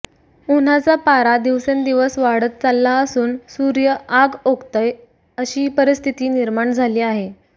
उन्हाचा पारा दिवसेंदिवस वाढत चालला असून सुर्य आग ओकतोय अशी परिस्थिती निर्माण झाली आहे